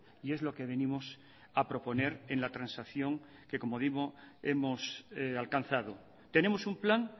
y es lo que venimos a proponer en la transacción que como digo hemos alcanzado tenemos un plan